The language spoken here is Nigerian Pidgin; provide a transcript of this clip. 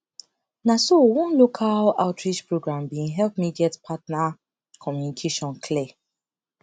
na so one local outreach program been help me get partner communication clear